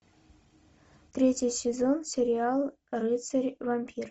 третий сезон сериал рыцарь вампир